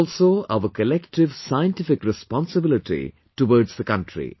This is also our Collective Scientific Responsibility towards the country